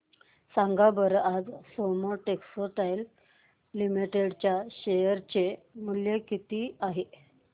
सांगा बरं आज सोमा टेक्सटाइल लिमिटेड चे शेअर चे मूल्य किती आहे